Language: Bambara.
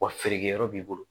Wa feerekɛyɔrɔ b'i bolo